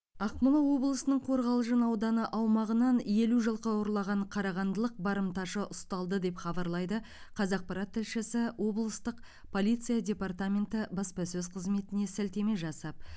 ақмола облысының қорғалжын ауданы аумағынан елу жылқы ұрлаған қарағандылық барымташы ұсталды деп хабарлайды қазақпарат тілшісі облыстық полиция департаменті баспасөз қызметіне сілтеме жасап